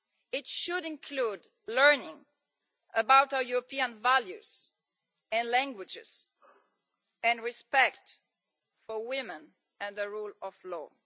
It should include learning about our European values and languages, and respect for women and the rule of law.